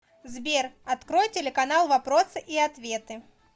сбер открой телеканал вопросы и ответы